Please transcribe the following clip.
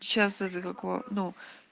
сейчас это как его ну